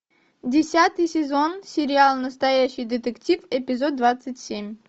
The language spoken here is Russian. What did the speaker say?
десятый сезон сериал настоящий детектив эпизод двадцать семь